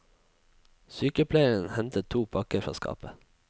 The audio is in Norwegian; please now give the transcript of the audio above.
Sykepleieren henter to pakker fra skapet.